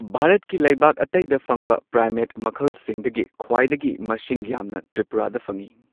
ꯚꯥꯔꯠꯀꯤ ꯂꯩꯕꯥꯛ ꯑꯇꯩꯗ ꯐꯪꯕ ꯄ꯭ꯔꯥꯏꯃꯦꯠ ꯃꯈꯜꯁꯤꯡꯗꯒꯤ ꯈ꯭ꯋꯥꯏꯗꯒꯤ ꯃꯁꯤꯡ ꯌꯥꯝꯅ ꯇ꯭ꯔꯤꯄꯨꯔꯥꯗ ꯐꯪꯏ꯫